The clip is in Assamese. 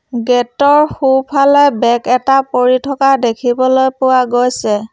গেট ৰ সোঁ ফালে বেগ এটা পৰি থকা দেখিবলৈ পোৱা গৈছে।